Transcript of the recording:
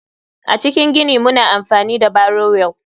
A cikin gini muna amfani da barrow wheel.